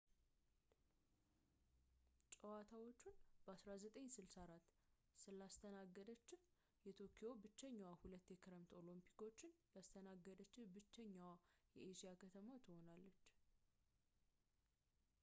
ጨዋታዎቹን በ1964 ስላስተናገደች ቶክዮ ብቸኛዋ ሁለት የክረምት ኦሎምፒኮችን ያስተናገደችህ ብችሀኛዋ የኤስያ ከተማ ትሆናለች